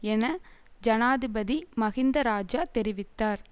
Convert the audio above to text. என ஜனாதிபதி மஹிந்த இராஜா தெரிவித்தார்